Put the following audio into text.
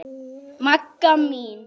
Magga mín.